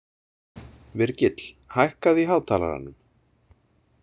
Virgill, hækkaðu í hátalaranum.